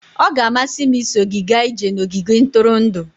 Ọ ga-amasị m iso gị gaa ije n'ogige ntụrụndụ.